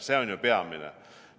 See on peamine.